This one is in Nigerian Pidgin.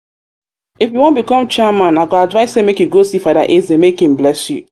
if um you wan become chairman i go advise say make you go see father eze make um him bless you